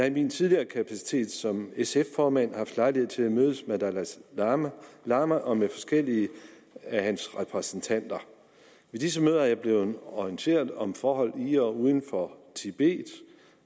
i min tidligere kapacitet som sf formand haft lejlighed til at mødes med dalai lama lama og med forskellige af hans repræsentanter på disse møder er jeg blevet orienteret om forhold i og uden for tibet